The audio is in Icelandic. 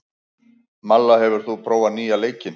Malla, hefur þú prófað nýja leikinn?